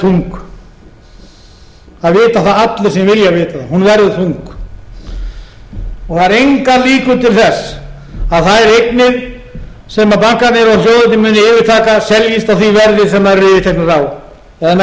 þung það vita það allir sem vilja vita það hún verður þung það eru engar líkur til þess að þær eignir sem bankarnir og sjóðirnir muni yfirtaka seljist á því verði sem þær eru yfirteknar á eða með þeim